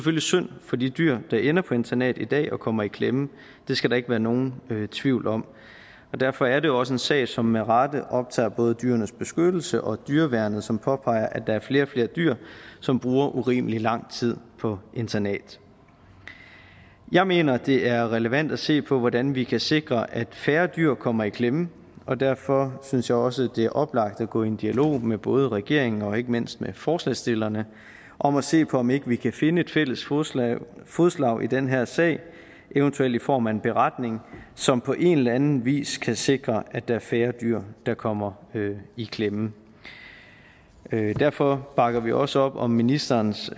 synd for de dyr der ender på internat i dag og kommer i klemme det skal der ikke være nogen tvivl om og derfor er der også en sag som med rette optager både dyrenes beskyttelse og dyreværnet som påpeger at der er flere og flere dyr som bruger urimelig lang tid på internat jeg mener at det er relevant at se på hvordan vi kan sikre at færre dyr kommer i klemme og derfor synes jeg også at det er oplagt at gå i en dialog med både regeringen og ikke mindst med forslagsstillerne om at se på om ikke vi kan finde et fælles fodslag fodslag i den her sag eventuelt i form af en beretning som på en eller anden vis kan sikre at der er færre dyr der kommer i klemme derfor bakker vi også op om ministerens